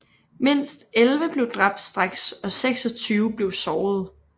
Mindst 11 blev dræbt straks og 26 blev sårede